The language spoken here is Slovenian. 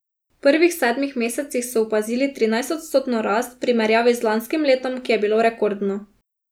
V prvih sedmih mesecih so opazili trinajstodstotno rast, v primerjavi z lanskim letom, ki je bilo rekordno.